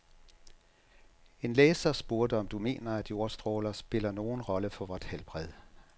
En læser spurgte, om du mener, at jordstråler spiller nogen rolle for vort helbred.